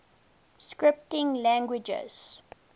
scripting languages